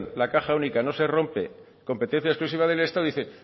la caja única no se rompe competencia exclusiva del estado dice